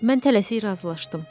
Mən tələsik razılaşdım.